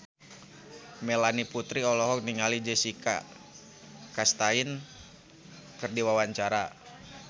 Melanie Putri olohok ningali Jessica Chastain keur diwawancara